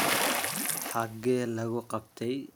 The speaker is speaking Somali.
Xagee lagu qabtaay?